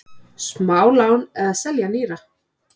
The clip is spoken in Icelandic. Smálán eða selja nýra?